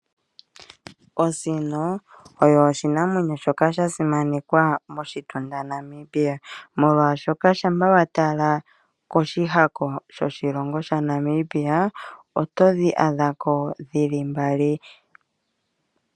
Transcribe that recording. Osino oyo oshinamwenyo shoka sha simanekwa moshitunda shaNamibia molwaashoka shapwa watala koshihaka shoshilongo shaNamibia, otodhi adhako dhili mbali.